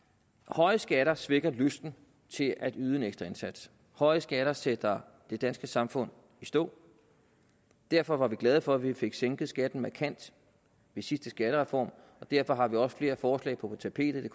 høje skatter svækker lysten til at yde en ekstra indsats høje skatter sætter det danske samfund i stå derfor var vi glade for at vi fik sænket skatten markant ved sidste skattereform og derfor har vi også flere forslag på tapetet i